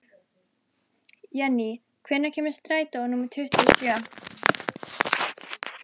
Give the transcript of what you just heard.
Jenny, hvenær kemur strætó númer tuttugu og sjö?